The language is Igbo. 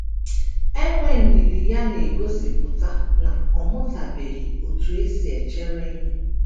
Enwe ndidi ya na - egosipụta na ọ mụtabeghị otú e si echere ihe.